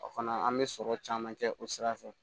O fana an bɛ sɔrɔ caman kɛ o sira fɛ